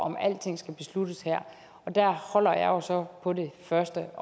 at alting skal besluttes her og der holder jeg jo så på det første